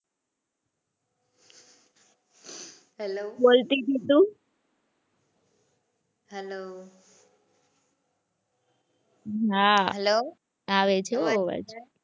Hello હાં hello આવે છે હો અવાજ.